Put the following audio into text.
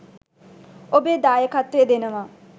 ඔබේ දායකත්වය දෙනවා.